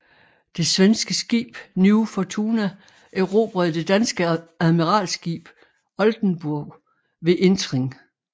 Det svenske skib New Fortuna erobrede det danske admiralskib Oldenborg ved entring